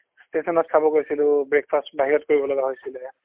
ষ্টেচনত খাব গৈছিলো breakfast বাহিৰত কৰিব লগা হৈছিলে